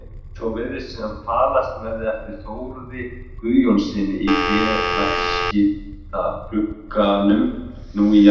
Svo virðist sem falast verði eftir Þórði Guðjónssyni í félagaskiptaglugganum nú í janúar.